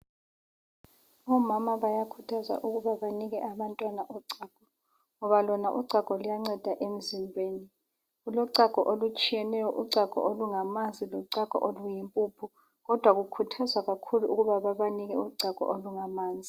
Omama bayakhuthazwa ukuba benike abantwana uchago ngoba lona uchago luyanceda emzimbeni, kulochago olutshiyeneyo uchago olungamanzi lochago oluyimpuphu kodwa kukhuthazwa kakhulu ukuthi bebanike uchago olungamanzi.